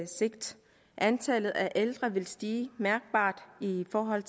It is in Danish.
sigt antallet af ældre vil stige mærkbart i forhold